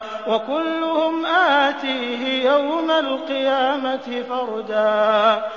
وَكُلُّهُمْ آتِيهِ يَوْمَ الْقِيَامَةِ فَرْدًا